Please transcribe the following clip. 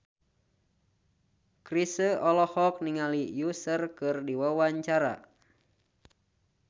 Chrisye olohok ningali Usher keur diwawancara